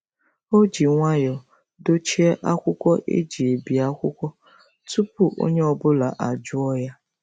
O ji nwayọọ dochie akwụkwọ e ji ebi akwụkwọ tupu onye ọ bụla ajụọ ya.